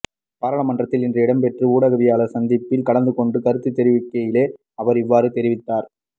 பாராளுமன்றத்தில் இன்று இடம்பெற்ற ஊடகவியலாளர் சந்திப்பில் கலந்துகொண்டு கருத்துத் தெரிவிக்கையிலேயே அவர் இவ்வாறு தெரிவித்தார்